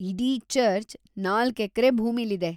ಇಡೀ ಚರ್ಚ್ ನಾಲ್ಕ್ ಎಕ್ರೆ ಭೂಮಿಲಿದೆ.